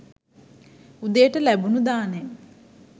උදේට ලැබුණු දානෙ